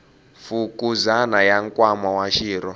fukuzana ya nkwama wa xirho